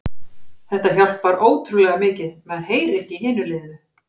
Þetta hjálpar ótrúlega mikið, maður heyrir ekki í hinu liðinu.